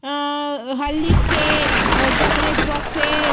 अ हल्दी से अ चॉकलेट बॉक्स है।